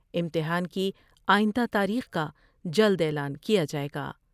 امتحان کی آئندہ تاریخ کا جلد اعلان کیا جاۓ گا ۔